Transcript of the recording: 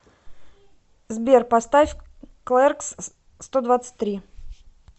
сбер поставь клэркс стодвадцатьтри